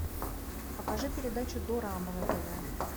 покажи передачу дорама на тв